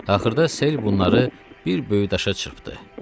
Axırda sel bunları bir böyük daşa çırpdı.